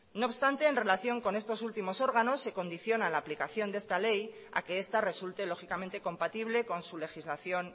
no obstante en relación con estos últimos órganos se condiciona la aplicación de esta ley a que esta resulte lógicamente compatible con su legislación